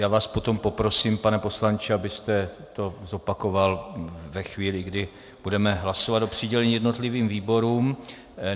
Já vás potom poprosím, pane poslanče, abyste to zopakoval ve chvíli, kdy budeme hlasovat o přidělení jednotlivým výborům.